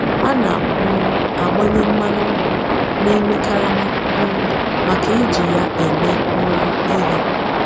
Ana m um agbanye mmanụ nkwụ n'ime karama um maka iji ya eme um ihe.